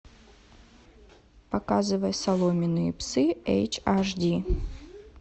показывай соломенные псы эйч аш ди